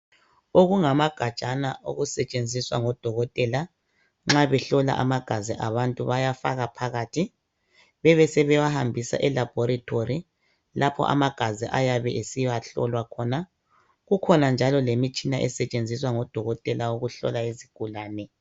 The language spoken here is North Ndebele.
Okungamagajana okusetshenziswa ngodokotela Nxa behlola amagazi abantu bayafaka phakathi, bebe sebewahambisa elabhorethi lapho amagazi ayabe esiyahlolwa khona. Kukhona njalo lemitshina esetshenziswa ngodokotela ukuhlola izigulane.